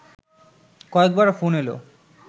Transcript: কয়েকবার ফোন এলো